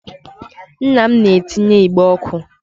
Nna m na-etinye igbe ọkụ.